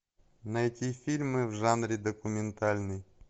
найти фильмы в жанре документальный